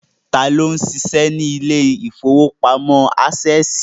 Tá ló ń ṣiṣẹ́ ní ilé ìfowópamọ́ Ásẹ̀sì?